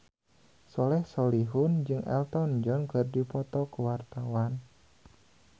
Soleh Solihun jeung Elton John keur dipoto ku wartawan